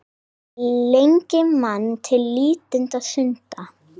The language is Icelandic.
Lengi man til lítilla stunda